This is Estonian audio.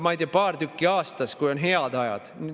Ma ei tea, paar tükki aastas, kui on head ajad.